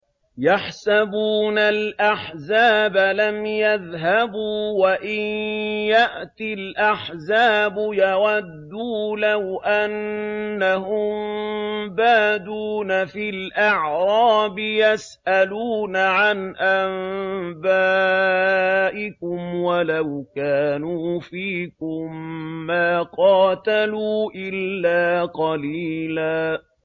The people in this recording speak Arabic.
يَحْسَبُونَ الْأَحْزَابَ لَمْ يَذْهَبُوا ۖ وَإِن يَأْتِ الْأَحْزَابُ يَوَدُّوا لَوْ أَنَّهُم بَادُونَ فِي الْأَعْرَابِ يَسْأَلُونَ عَنْ أَنبَائِكُمْ ۖ وَلَوْ كَانُوا فِيكُم مَّا قَاتَلُوا إِلَّا قَلِيلًا